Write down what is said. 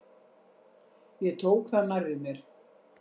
Ég tók það nærri mér.